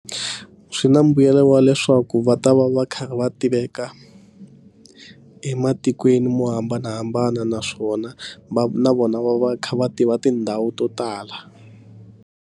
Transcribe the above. Swi na mbuyelo wa leswaku va ta va va karhi va tiveka ematikweni mo hambanahambana naswona va na vona va va kha va tiva tindhawu to tala.